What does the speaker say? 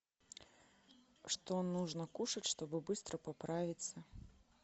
что нужно кушать чтобы быстро поправиться